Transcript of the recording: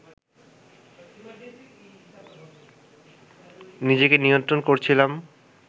নিজেকে নিয়ন্ত্রণ করছিলাম